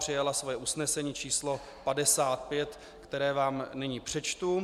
Přijala své usnesení číslo 55, které vám nyní přečtu.